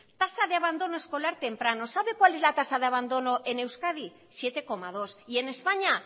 tasa de abandono escolar temprano sabe cuál es la tasa de abandono en euskadi siete coma dos y en españa